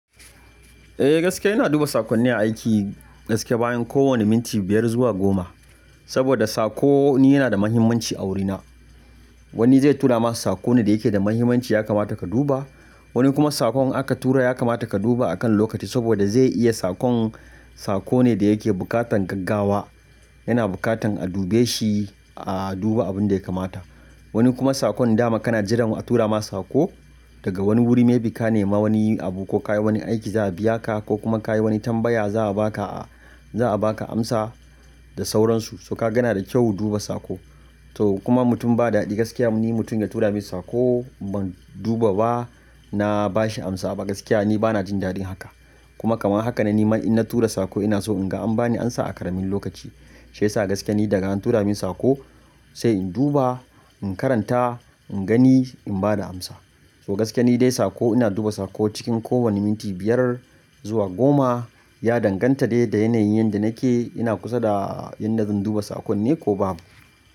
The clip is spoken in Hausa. Eh gaskiya ina duba saƙonni aiki gaskiya bayan kowane minti biyar zuwa goma. Saboda saƙo ni yana da muhimmanci a wurina. Wani zai tura ma saƙo ne da yake da muhimmanci ya kamata ka duba, wani kuma saƙon aka tura ya kamata ka duba akan lokaci saboda zai iya saƙon, saƙo ne da yake buƙatan gaggawa yana buƙatan a dube shi a duba abin da ya kamata. Wani kuma saƙon dama kana jiran a tura ma saƙo daga wani wuri me bi ka nema wani abu ko ka yi wani aiki za a biya ka ko kuma ka yi wani tambaya za a ba ka a za a ba ka amsa da sauransu. So ka gana da kyau duba saƙo. To kuma mutum ba daɗi gaskiya ni mutum ya tura min saƙo ban duba ba na ba shi amsa ba gaskiya ni bana jin daɗin haka. Kuma kamar haka ne nima ina tura saƙo ina so in ga an bani amsa a karamin lokaci. Shiyasa sa gaskiya ni daga an tura min saƙo sai in duba, in karanta, in gani, in bada amsa. So gaskiya ni dai saƙo ina duba saƙo cikin kowane minti biyar zuwa goma. Ya danganta dai da yanayin yadda nake ina kusa da inda zan duba saƙon ne ko babu.